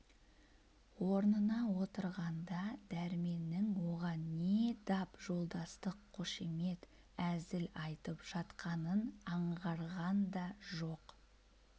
орнына отырғанда дәрменнің оған не дап жолдастық қошемет әзіл айтып жатқанын аңғарған да жоқ